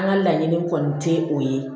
An ka laɲini kɔni tɛ o ye